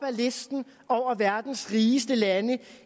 listen over verdens rigeste lande